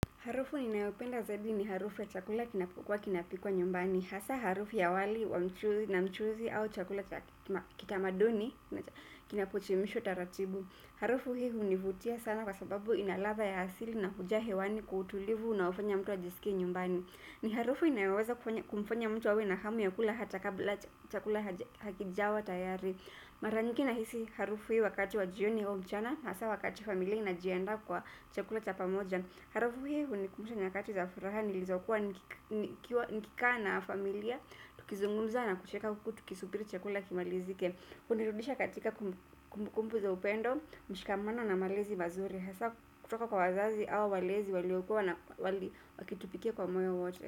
Harufu ninayopenda zaidi ni harufu ya chakula kinapokuwa kinapikwa nyumbani. Hasa harufu ya wali na mchuzi au chakula kitamaduni na kinapochemshwa taratibu. Harufu hii hunivutia sana kwa sababu ina ladha ya asili na huja hewani kwa utulivu unaofanya mtu ajisikie nyumbani. Ni harufu inayoweza kumfanya mtu awe na hamu ya kula hata kabla chakula hakijawa tayari. Mara nyingi nahisi harufu hii wakati wa jioni au mchana, hasa wakati familia inajiandaa kwa chakula cha pamoja. Harufu hii hunikumbusha nyakati za furaha nilizokuwa nikikaa na familia. Tukizungunza na kucheka huku tukisubiri chakula kimalizike. Hunirudisha katika kumbukumbu za upendo mshikamano na malezi mazuri hasa kutoka kwa wazazi au walezi waliokua na wali wakitupikia kwa moyo wote.